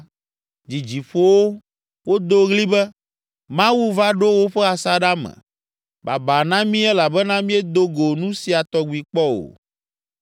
dzidzi ƒo wo. Wodo ɣli be, “Mawu va ɖo woƒe asaɖa me, babaa na mí elabena míedo go nu sia tɔgbi kpɔ o!